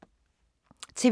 TV 2